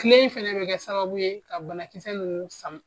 Kile in fɛnɛ bɛ kɛ sababu ye ka banakisɛ ninnu san.